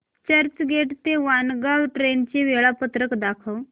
चर्चगेट ते वाणगांव ट्रेन चे वेळापत्रक दाखव